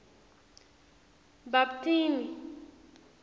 bhaptini